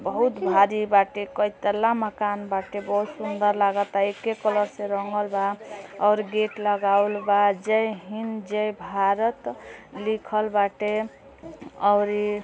बहुत भारी बाटे। कई तला मकान बाटे। बहुत सुन्दर लागता एके कलर से रंगल बा और गेट लगावल बा जय हिन्द जय भारत लिखल बाटे और ये --